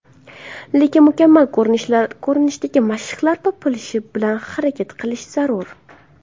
Lekin mukammal ko‘rinishdagi mashqlar topilishi bilan harakat qilish zarur.